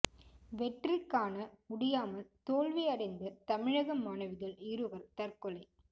வெற்றி காண முடியாமல் தோல்வி அடைந்த தமிழக மாணவிகள் இருவர் தற்கொலை